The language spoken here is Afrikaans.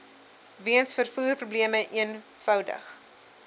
weens vervoerprobleme eenvoudig